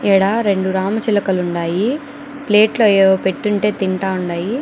ఈడ రెండు రామచిలకలు ఉండయి ప్లేట్ లో ఏవో పెట్టుంటే తింటా ఉండాయి --